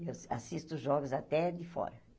Eu assisto jogos até de fora.